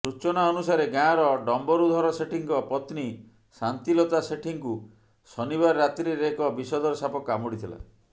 ସୂଚନା ଅନୁସାରେ ଗାଁର ଡମ୍ବରୁଧର ସେଠୀଙ୍କ ପତ୍ନୀ ସାନ୍ତିଲତା ସେଠୀଙ୍କୁ ଶନିବାର ରାତ୍ରିରେ ଏକ ବିଷଧର ସାପ କାମୁଡ଼ିଥିଲା